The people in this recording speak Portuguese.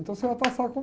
Então você vai passar com